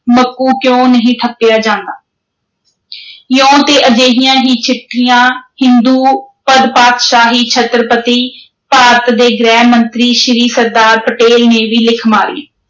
ਮੱਕੂ ਕਿਉਂ ਨਹੀਂ ਠੱਪਿਆ ਜਾਂਦਾ ਇਉਂ ਤੇ ਅਜਿਹੀਆਂ ਹੀ ਚਿੱਠੀਆਂ ਹਿੰਦੂ ਪਦਪਾਤਸ਼ਾਹੀ ਛੱਤ੍ਰਪਤੀ, ਭਾਰਤ ਦੇ ਗ੍ਰਹਿ-ਮੰਤਰੀ ਸ੍ਰੀ ਸਰਦਾਰ ਪਟੇਲ ਨੇ ਵੀ ਲਿਖ ਮਾਰੀ।